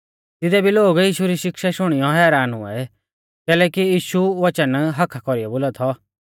तिदै भी लोग यीशु री शिक्षा शुणियौ हैरान हुऐ कैलैकि यीशु वच़न हक्क्का कौरीऐ बोला थौ